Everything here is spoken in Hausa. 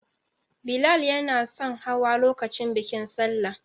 Billal yanason hawa lokacin bikin Salla.